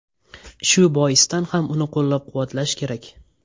Shu boisdan ham uni qo‘llab-quvvatlash kerak.